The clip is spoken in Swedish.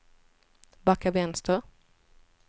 backa vänster